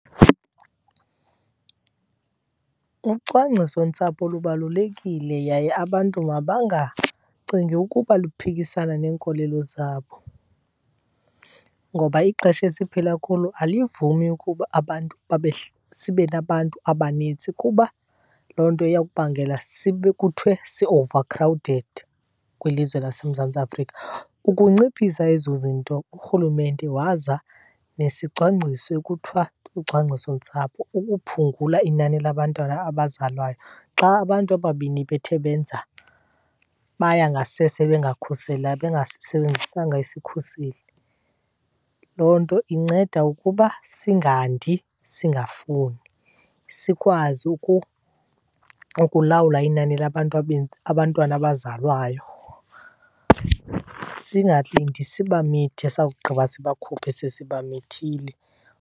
Ucwangcisontsapho lubalulekile yaye abantu mabangacingi ukuba luphikisana neenkolelo zabo ngoba ixesha esiphila kulo alivumi ukuba abantu sibe nabantu abanintsi kuba loo nto iya kubangela kuthiwe si-overcrowded kwilizwe laseMzantsi Afrika. Ukunciphisa ezo zinto uRhulumente waza nesicwangciso ekuthiwa lucwangcisontsapho ukuphungula inani labantwana abazalwayo xa abantu ababini bethe benza, baya ngasese bengasisebenzisanga isikhuseli. Loo nto inceda ukuba singandi singafuni, sikwazi ukulawula inani labantu , abantwana abazalwayo. Singalindi sibamithe sawugqiba sibakhuphe sesibamithile.